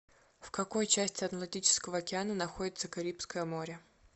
в какой части атлантического океана находится карибское море